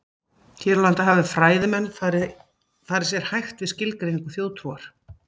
Hér á landi hafa fræðimenn farið sér hægt við skilgreiningu þjóðtrúar.